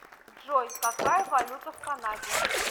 джой какая валюта в канаде